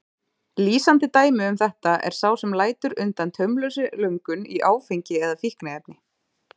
Lýsandi dæmi um þetta er sá sem lætur undan taumlausri löngun í áfengi eða fíkniefni.